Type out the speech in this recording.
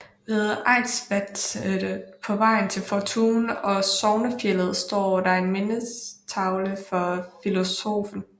Ved Eidsvatnet på vejen til Fortun og Sognefjellet står der en mindetavle for filosoffen